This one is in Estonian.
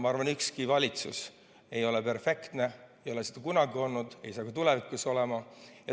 Ma arvan, et ükski valitsus ei ole perfektne, nii pole kunagi olnud ega saa ka tulevikus olema.